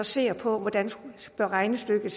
ser på hvordan regnestykket